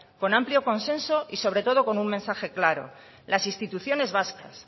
con amplio consenso y sobre todo con un mensaje claro las instituciones vascas